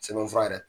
Sɛbɛnfura yɛrɛ